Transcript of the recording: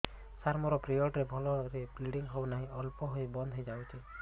ସାର ମୋର ପିରିଅଡ଼ ରେ ଭଲରେ ବ୍ଲିଡ଼ିଙ୍ଗ ହଉନାହିଁ ଅଳ୍ପ ହୋଇ ବନ୍ଦ ହୋଇଯାଉଛି